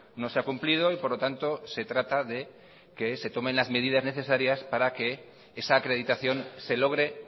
no se ha cumplido y por lo tanto se trata de que se tomen las medidas necesarias para que esa acreditación se logre